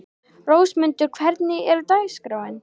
Rósmundur, hvernig er dagskráin?